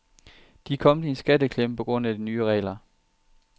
De er kommet i en skatteklemme på grund af de nye regler.